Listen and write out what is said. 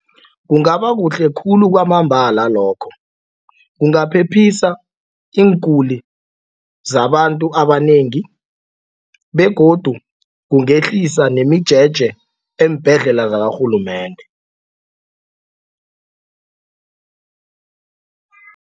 Kungaba kuhle khulu kwamambala lokho. Kungaphephisa iinguli zabantu abanengi begodu kungehlisa nemijeje eembhedlela zakarhulumende.